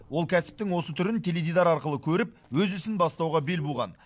ол кәсіптің осы түрін теледидар арқылы көріп өз ісін бастауға бел буған